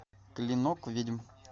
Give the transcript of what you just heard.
клинок ведьм